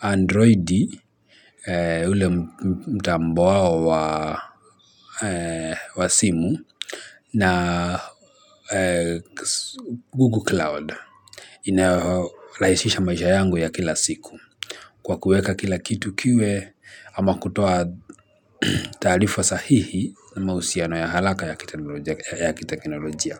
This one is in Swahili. Android, ule mtambo wao wa simu, na Google Cloud. Inarahisisha maisha yangu ya kila siku kwa kuweka kila kitu kiwe ama kutoa taarifa sahihi na mahusiano ya haraka ya kiteknolojia.